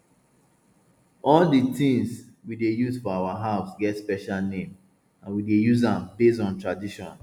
all di tins we dey use for our house get special name and we dey use am based on tradition